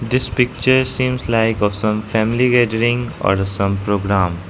this picture seems like of some family gathering or some program.